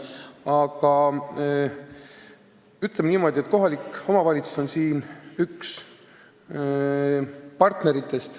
Aga ütleme niimoodi, et kohalik omavalitsus on siin üks partneritest.